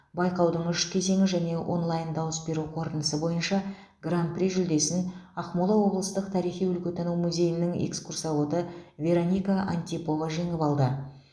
байқаудың үш кезеңі және онлай дауыс беру қорытындысы бойынша гран при жүлдесін ақмола облыстық тарихи өлкетану музейінің экскурсоводы вероника антипова жеңіп алды